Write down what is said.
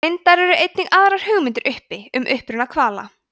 reyndar eru einnig aðrar hugmyndir uppi um uppruna hvala